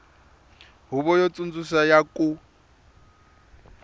huvo yo tsundzuxa ya ku